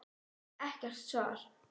Ekkert svar.